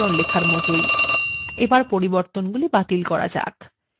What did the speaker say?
এটি নথিতে any যেকোনো সাধারণ লেখার মতই